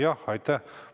Jah, aitäh!